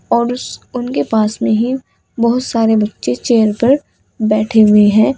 और उस उनके पास में ही बहुत सारे बच्चे चेयर पर बैठे हुए हैं।